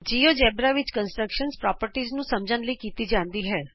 GeoGebra ਵਿਚ ਸੰਰਚਨਾ ਦੇ ਗੁਣਾਂ ਨੂੰ ਸਮਝਣ ਲਈ ਆਕਾਰ ਬਣਾਏ ਜਾਂਦੇ ਹਨ